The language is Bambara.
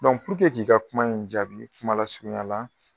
k'i ka kuma in jaabi kuma lasurunyala